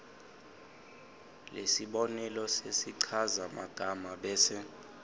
lesibonelo sesichazamagama bese